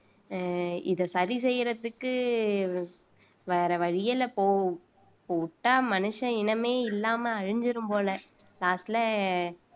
அஹ் இத சரி செய்யறதுக்கு வேற வழி இல்ல இப்போ இப்ப விட்டா மனுஷ இனமே இல்லாம அழிஞ்சிரும் போல காட்டுல